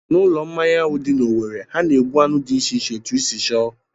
N'ulo mmanya ahụ dị n'Owere, ha na-egbu anụ dị iche iche etu I si chọọ